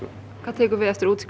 hvað tekur við eftir útskrift